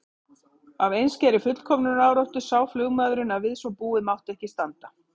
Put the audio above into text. Af einskærri fullkomnunaráráttu sá flugmaðurinn að við svo búið mátti ekki standa.